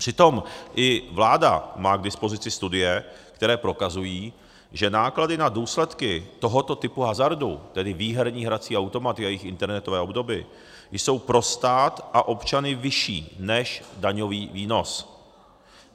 Přitom i vláda má k dispozici studie, které prokazují, že náklady na důsledky tohoto typu hazardu, tedy výherní hrací automaty a jejich internetové obdoby, jsou pro stát a občany vyšší než daňový výnos.